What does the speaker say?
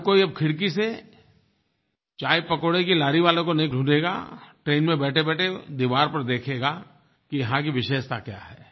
हर कोई अब खिड़की से चायपकौड़े की लॉरी वालों को नहीं ढूंढ़ेगा ट्रेन में बैठेबैठे दीवार पर देखेगा कि यहाँ की विशेषता क्या है